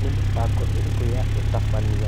Ni mĩbango ĩrĩkũ ya ũtabania?